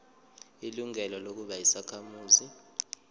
ilungelo lokuba yisakhamuzi